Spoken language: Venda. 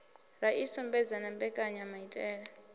ra i sumba na mbekanyamaitele